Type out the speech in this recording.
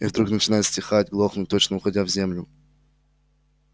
и вдруг начинает стихать глохнуть точно уходя в землю